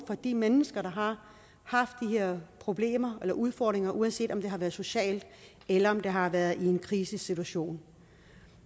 for de mennesker der har haft de her problemer eller udfordringer uanset om det har været socialt eller om det har været i en krisesituation